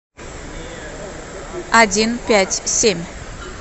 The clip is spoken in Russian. один пять семь